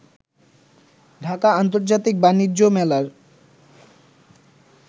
ঢাকা আন্তর্জাতিক বাণিজ্য মেলার